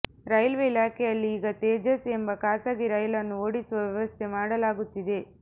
railway ಇಲಾಖೆಯಲ್ಲಿ ಈಗ ತೇಜಸ್ ಎಂಬ ಖಾಸಗಿ ರೈಲನ್ನು ಓಡಿಸುವ ವ್ಯವಸ್ಥೆ ಮಾಡಲಾಗುತ್ತಿದೆ